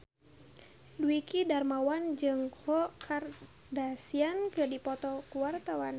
Dwiki Darmawan jeung Khloe Kardashian keur dipoto ku wartawan